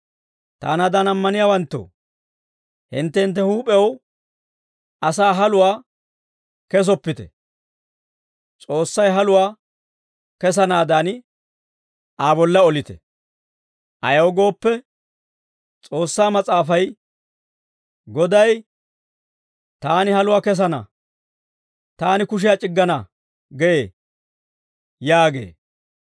Taanaadan ammaniyaawanttoo, hintte hintte huup'ew asaw haluwaa kesoppite. S'oossay haluwaa kesanaadan, Aa bolla olite. Ayaw gooppe, S'oossaa Mas'aafay, «Goday, ‹Taani haluwaa kesana; taani kushiyaa c'iggana› gee» yaagee.